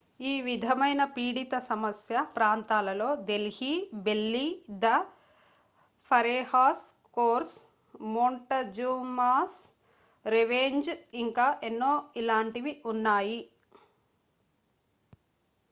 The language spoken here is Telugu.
ఈ విధమైన పీడిత సమస్య/ప్రాంతాలలో delhi belly the pharaoh's curse montezuma's revenge ఇంకా ఎన్నో ఇలాంటివి ఉన్నాయి